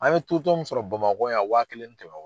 An ye totɔn mun sɔrɔ Bamakɔ yan wa kelen ni kɛmɛ wɔɔrɔ.